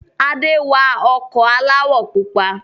Ade wa ọkọ̀ aláwọ̀ pupa